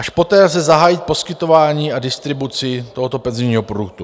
Až poté lze zahájit poskytování a distribuci tohoto penzijního produktu.